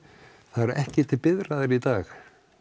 það eru ekki til biðraðir í dag